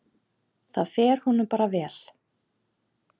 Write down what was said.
Það fer honum bara vel.